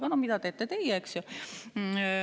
Aga mida teete teie?